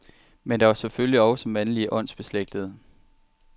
Men der var selvfølgelig også mandlige åndsbeslægtede.